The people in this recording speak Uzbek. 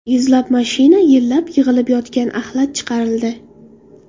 Yuzlab mashina yillab yig‘ilib yotgan axlat chiqarildi.